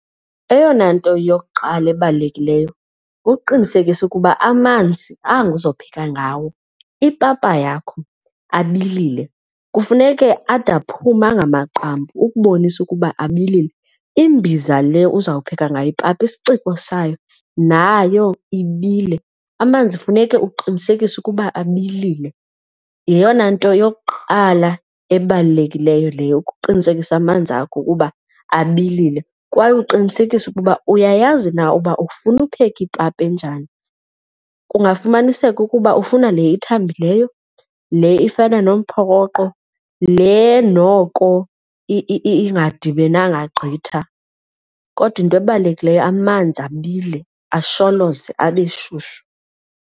Eyona nto yokuqala ebalulekileyo kuqinisekisa ukuba amanzi anga uzopheka ngawo ipapa yakho abilile. Kufuneke ade aphume angamagqampu ukubonisa ukuba abilile, imbiza le uzawupheka ngayo ipapa isiciko sayo nayo ibile. Amanzi funeka uqinisekise ukuba abilile yeyona nto yokuqala ebalulekileyo leyo ukuqinisekisa amanzi akho kuba abilile. Kwaye uqinisekise ukuba uyayazi na uba ufuna ukupheka ipapa enjani, kungafumaniseka ukuba ufuna le ithambileyo, le ifana nomphokoqo, le noko ingadibenanga gqitha. Kodwa into ebalulekileyo amanzi abile asholoze, abe shushu.